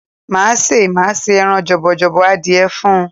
Máa ṣé, màá ṣé ẹran jọ̀bọ̀jọ̀bọ̀ adìẹ fún ọ.